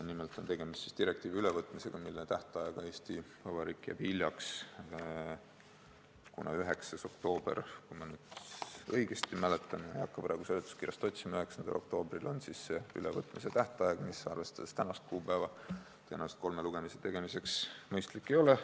Nimelt on tegemist direktiivi ülevõtmisega, mille teostamisega jääb Eesti Vabariik hiljaks, kuna ülevõtmise tähtaeg on 9. oktoober – juhul, kui ma õigesti mäletan, ma ei hakka praegu seletuskirjast otsima –, mis tänast kuupäeva arvestades tõenäoliselt kolme lugemise läbimiseks mõistlik ei ole.